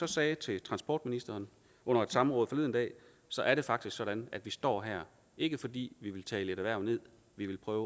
sagde til transportministeren under et samråd forleden dag så er det faktisk sådan at vi står her ikke fordi vi vil tale et erhverv ned vi vil prøve